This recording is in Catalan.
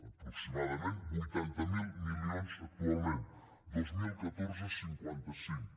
aproximadament vuitanta miler milions actualment dos mil catorze cinquanta cinc